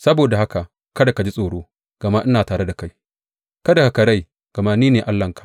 Saboda haka kada ka ji tsoro, gama ina tare da kai; kada ka karai, gama ni ne Allahnka.